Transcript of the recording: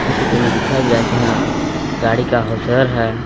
इस चित्र में दिखाया जा रहे की हाँ गाड़ी का हाउसवेयर है।